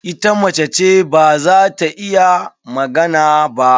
Ita mace ce, ba za ta iya magana ba.